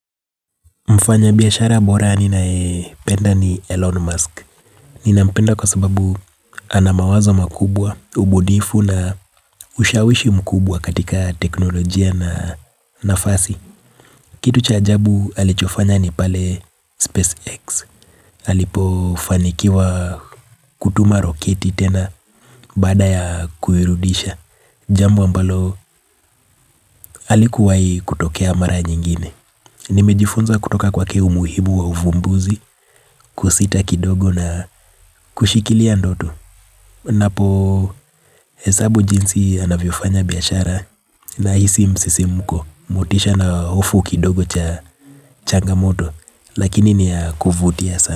Mfanya biashara bora ni ninayependa ni Elon Musk. Ninampenda kwa sababu ana mawazo makubwa, ubunifu na ushawishi mkubwa katika teknolojia na nafasi. Kitu cha ajabu alichofanya ni pale SpaceX. Alipo fanikiwa kutuma roketi tena baada ya kuirudisha. Jambo ambalo halikuwahi tokea mara nyingine. Nimejifunza kutoka kwake umuhimu wa uvumbuzi, kusita kidogo na kushikilia ndoto. Napo hesabu jinsi anavyofanya biashara nahisi msisimuko motisha na hofu kidogo cha changamoto. Lakini ni ya kuvutia sana.